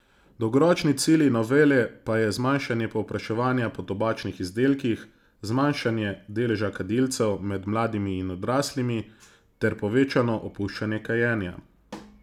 Dolgoročni cilj novele pa je zmanjšanje povpraševanja po tobačnih izdelkih, zmanjšanje deleža kadilcev med mladimi in odraslimi ter povečano opuščanje kajenja.